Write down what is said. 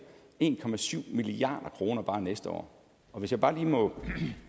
en milliard kroner bare næste år og hvis jeg bare lige må